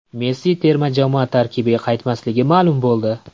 Messi terma jamoa tarkibiga qaytmasligi ma’lum bo‘ldi.